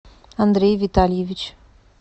андрей витальевич